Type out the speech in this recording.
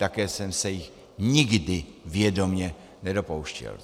Také jsem se jich nikdy vědomě nedopouštěl.